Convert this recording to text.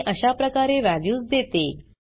मी अशाप्रकारे वॅल्यूज देते